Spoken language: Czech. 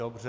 Dobře.